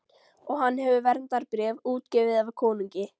Og hann hefur verndarbréf, útgefið af konungi.